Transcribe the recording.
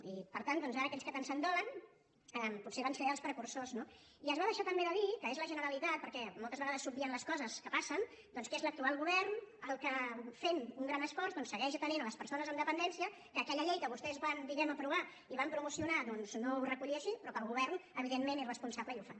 i per tant ara aquells que tant se’n dolen potser en van ser els precursors no i es va deixar també de dir que és la generalitat perquè moltes vegades s’obvien les coses que passen que és l’actual govern el que fent un gran esforç segueix atenent les persones amb dependència que aquella llei que vostès van aprovar i van promocionar no ho recollia així però que el govern evidentment és responsable i ho fa